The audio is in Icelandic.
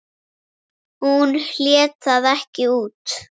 Hún hélt það ekki út!